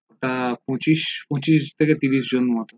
ওটা পঁচিশ পঁচিশ থেকে ত্রিশ জনের মতো